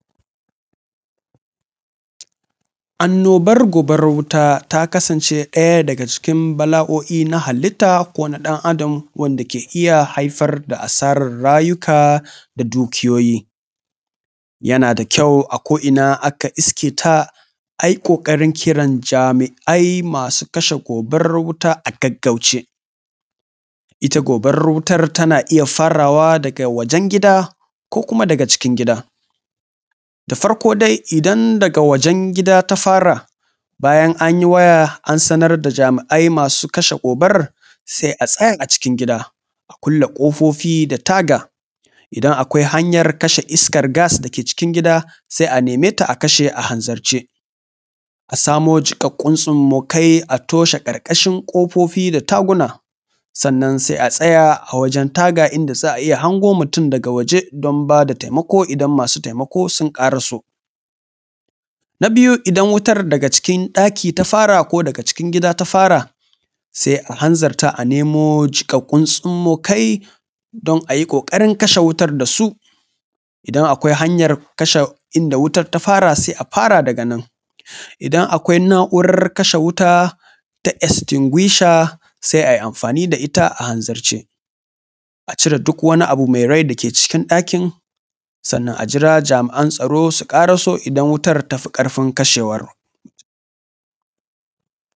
Annobar gobarar wuta ta kasance ɗaya daga cikin bala’o’i na halitta ko ɗan’adam wanda ke iya haifar da asarar rayuka da dukiyoyi. Yana da kyau a ko’ina aka iske ta a yi ƙoƙarin kiran jami’ai masu kasha gobarar wuta a gaggauce. Ita gobarar wutar tana iya farawa daga wajen gida ko kuma daga cikin gida. Da farko dai idan daga wajen gida ta fara bayan an yi waya an sanar da jami’ai masu kashe gobarar sai a tsaya a cikin gida a kulle ƙofofi da taga, idan akwai hanyar kashe iskar gas da ke cikin gida sai a neme ta a kashe a hanzarce. A samo jiƙaƙƙun tsummokai a toshe ƙarƙashin ƙofofi da taguna sannan sai a tsaya a wajen taga inda za a iya hango mutum daga waje don bada taimako idan masu bada taimako sun ƙaraso. Na biyu idan wutar daga cikin ɗaki ta fara ko daga cikin gida ta fara sai a hanzarta a nemo jiƙaƙƙun tsummokai don a yi ƙoƙarin kashe wutar da su. Idan akwai hanyar kashe inda wutar ta fara sai a fara daga nan, idan akwai na’urar kashe wuta ta estinguisher sai a yi amfani da ita a hanzarce a cire duk wani abu mai rai da ke cikin ɗakin sannan a jira jami’an tsaro su ƙaraso idan wutar ta fi ƙarfin kashewar.